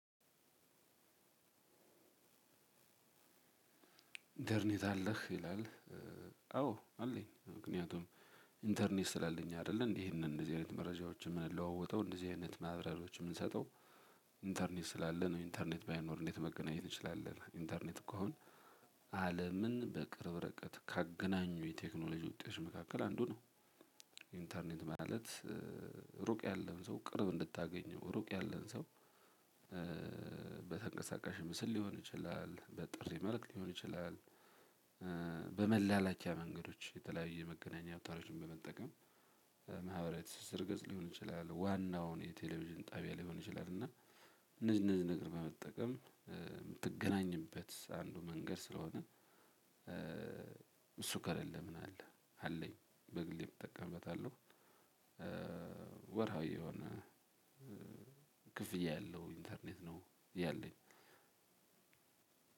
ኢንተርኔት አለህ ይላል። አዎ አለኝ ምክንያቱም ኢንተርኔት ስላለኝ አይደለ ይሄንን እንደዚህ አይነት መረጃዎችን የምንለዋወጠው እንደዚህ አይነት ማብራሪያዎችን የምንሰጠው። ኢንተርኔት ስላለ ነው ኢንተርኔት ባይኖር እንዴት መገናኘት እንችላለን? ኢንተርኔት እኮ አሁን አለምን በቅርብ እርቀት ካገናኙ የቴክኖሎጂ ውጤቶች መካከል አንዱ ነው። ኢንተርኔት ማለት እሩቅ ያለን ሰው ቅርብ እንድታገኘው እሩቅ ያለን ሰው። በተንቀሳቃሽ ምስል ሊሆን ይችላል በጥሪ መልክ ሊሆን ይችላል። በመላላኪያ መንገዶች የተለያየ የመገናኛ አዉታሮችን በመጠቀም ማህበራዊ ትስስር ገዝ ሊሆን ይችላል። ዋናውን የቴሌቪዥን ጣቢያ ሊሆን ይችላል እና እነዚህ እነዚህ ነገር በመጠቀም የምትገናኝበት አንዱ መንገድ ስለሆነ። እሱ ከሌለ ምን አለ? አለኝ በግሌ እጠቀምበታለሁ። ወርሃዊ የሆነ ክፍያ ያለው ኢንተርኔት ነው ያለኝ።